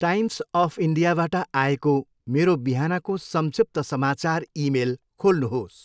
Times of इन्डियाबाट आएको मेरो बिहानको संक्षिप्त समाचार इमेल खोल्नुहोस्।